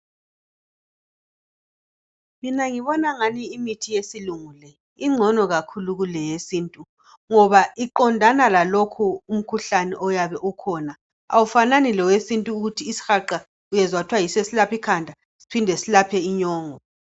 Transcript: Mina ngibona engani imithi yesilungu le ingcono kakhulu kuleyesintu ngoba iqondana lalokhu umkhuhlane oyabe ukhona awufanani lowesintu ukuthi isihaqa uyezwa kuthwa yiso eselapha ikhanda siphinde selaphe inyongo.